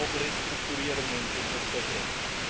Auch Restrukturierungen sind oft der Grund.